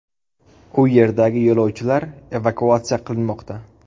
U yerdagi yo‘lovchilar evakuatsiya qilinmoqda.